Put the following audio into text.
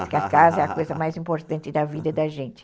Porque a casa é a coisa mais importante da vida da gente.